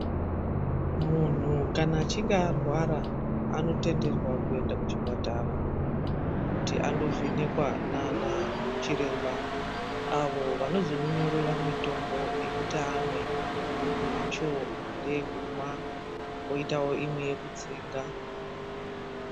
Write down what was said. Munhu kana achinge arwara anotenderwa kuenda kuchipatara kuti andovhenekwa nanachiremba avo vanozomunyorera mitombo yekuti amwe. Imwe yacho ndeyekumwa kwoitawo imwe yekutsenga .